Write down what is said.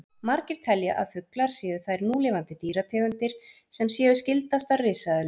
Margir telja að fuglar séu þær núlifandi dýrategundir sem séu skyldastar risaeðlum.